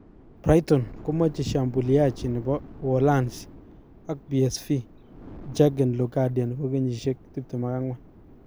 Brighton komache shambuliaji nepo uholanzi ak PSV J�rgen locadia 24